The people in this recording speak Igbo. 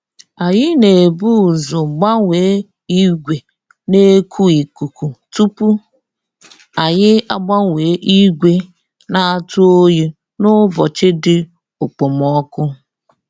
Anyị na ebu ụzọ gbanye ìgwè na eku ikuku tupu anyị agbanye ìgwè na atụ oyi n'ụbọchị dị okpomoko